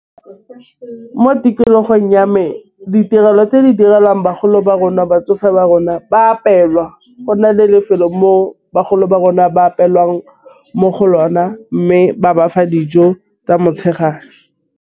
Ee, mo tikologong ya me ditirelo tse di direlwang bagolo ba rona batsofe ba rona ba apelwa. Go na le lefelo mo bagolo ba rona ba apelwang mo go lona mme ba bafa dijo tsa motšhegare.